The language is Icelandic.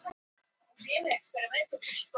hvað verða lóur gamlar